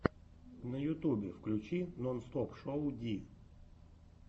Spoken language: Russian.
на ютубе включи нонстопшоу ди